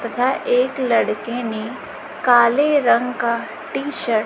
तथा एक लड़के ने काले रंग का टी शर्ट --